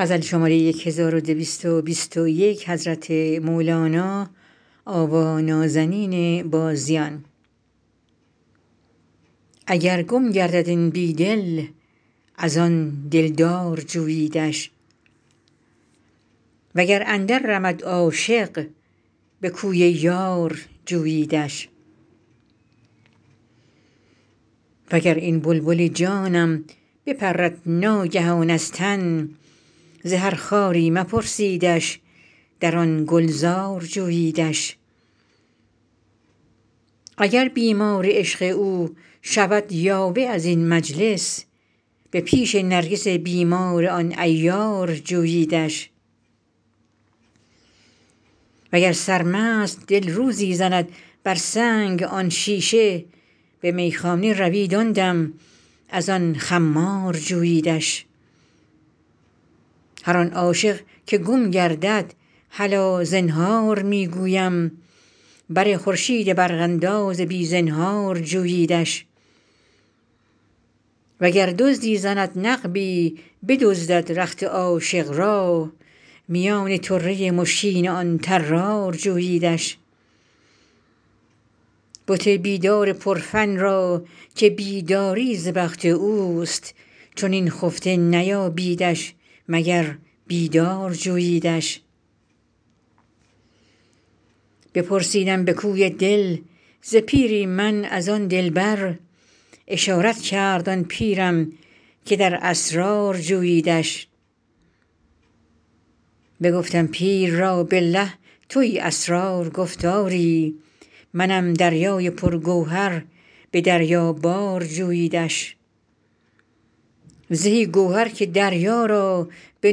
اگر گم گردد این بی دل از آن دلدار جوییدش وگر اندررمد عاشق به کوی یار جوییدش وگر این بلبل جانم بپرد ناگهان از تن زهر خاری مپرسیدش در آن گلزار جوییدش اگر بیمار عشق او شود یاوه از این مجلس به پیش نرگس بیمار آن عیار جوییدش وگر سرمست دل روزی زند بر سنگ آن شیشه به میخانه روید آن دم از آن خمار جوییدش هر آن عاشق که گم گردد هلا زنهار می گویم بر خورشید برق انداز بی زنهار جوییدش وگر دزدی زند نقبی بدزدد رخت عاشق را میان طره مشکین آن طرار جوییدش بت بیدار پرفن را که بیداری ز بخت اوست چنین خفته نیابیدش مگر بیدار جوییدش بپرسیدم به کوی دل ز پیری من از آن دلبر اشارت کرد آن پیرم که در اسرار جوییدش بگفتم پیر را بالله توی اسرار گفت آری منم دریای پرگوهر به دریابار جوییدش زهی گوهر که دریا را به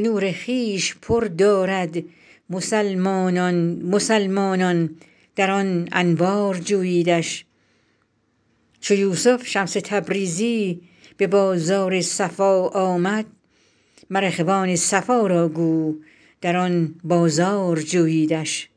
نور خویش پر دارد مسلمانان مسلمانان در آن انوار جوییدش چو یوسف شمس تبریزی به بازار صفا آمد مر اخوان صفا را گو در آن بازار جوییدش